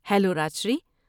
Hello Rajshri.